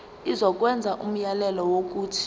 izokwenza umyalelo wokuthi